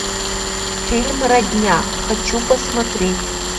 фильм родня хочу посмотреть